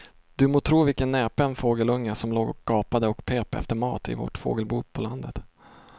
Du må tro vilken näpen fågelunge som låg och gapade och pep efter mat i vårt fågelbo på landet.